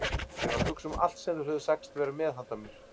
Ég var að hugsa um allt sem þeir höfðu sagst vera með handa mér.